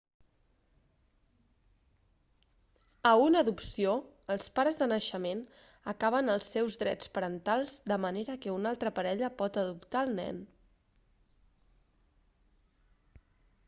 a una adopció els pares de naixement acaben els seus drets parentals de manera que una altra parella pot adoptar el nen